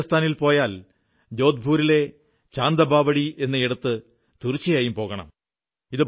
നിങ്ങൾ രാജസ്ഥാനിൽ പോയാൽ ജോധ്പുരിലെ ചാന്ദബാവഡി എന്നയിടത്ത് തീർച്ചയായും പോകണം